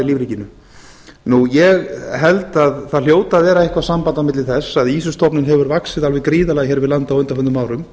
í lífríkinu ég held að það hljóti að vera eitthvað samband á milli þess að ýsustofninn hefur vaxið alveg gríðarlega hér við land á undanförnum árum